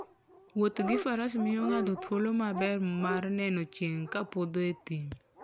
Wuoth gi faras miyo ng'ato thuolo maber mar neno chieng' ka podho e thim.